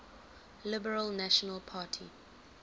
liberal national party